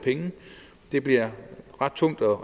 det bliver ret tungt